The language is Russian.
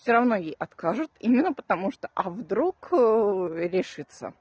всё ровно ей откажут именно потому что а вдруг решится